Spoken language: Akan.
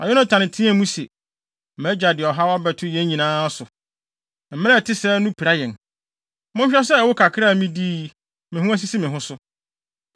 Na Yonatan teɛɛ mu se, “Mʼagya de ɔhaw abɛto yɛn nyinaa so. Mmara a ɛte sɛɛ no pira yɛn. Monhwɛ sɛ ɛwo kakra a midii yi, me ho asisi me ho so.